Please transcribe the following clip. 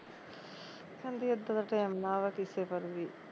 ਕਹਿੰਦੀ ਇੱਦਾਂ ਦਾ ਟੈਮ ਨਾ ਅਵੇ ਕਿਸੇ ਪਰ ਵੀ